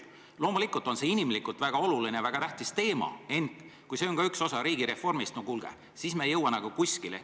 Loomulikult on see inimlikult väga oluline, väga tähtis teema, ent kui see on ka üks osa riigireformist, siis, no kuulge, me ei jõua kuskile.